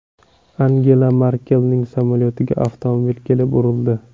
Angela Merkelning samolyotiga avtomobil kelib urildi.